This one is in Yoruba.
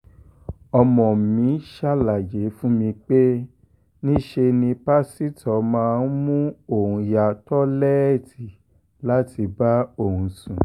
ọmọ mi ṣàlàyé fún mi pé níṣe ni pásítọ̀ máa mú òun yá lọ́tẹ̀ẹ̀lì láti bá òun sùn